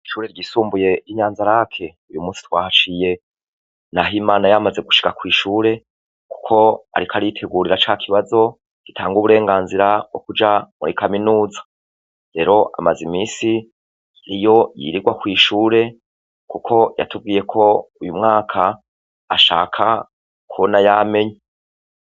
Ishure ryisumbuye inyanzalac uyumunsi twahaciye nahimana yamaze gushika kwishure kuko ariko aritegurira cakibazo gitanga uburenganzira bwokuja muri kaminuza rero amaze iminsi iyo yirirwa kwishure kuko yatubwiyeko uyumwaka ashaka kubona yamenye